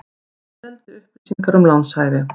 Seldi upplýsingar um lánshæfi